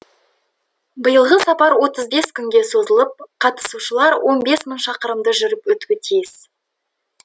биылғы сапар отыз бес күнге созылып қатысушылар он бес мың шақырымды жүріп өтуі тиіс